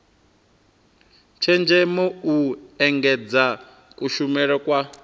tshenzhemo u engedza kushumele kwa